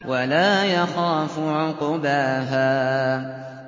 وَلَا يَخَافُ عُقْبَاهَا